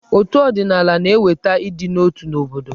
Otù ọdịnaala na-eweta ịdị n'otu n'obodo.